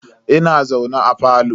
Ina zaune a falo.